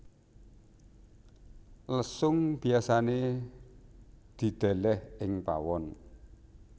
Lesung biasané didèlèh ing pawon